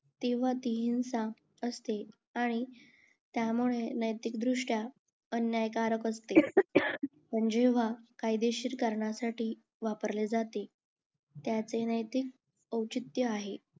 तेव्हा ती हिंसा असते आणि त्यामुळे नैतिक दृष्ट्या अन्यायकारक असते पण जेव्हा कायदेशीर कारणासाठी वापरले जाते त्याचे नैतिक अव्चीत्त आहे